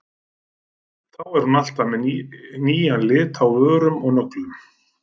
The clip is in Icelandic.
Þá er hún alltaf með nýjan lit á vörum og nöglum.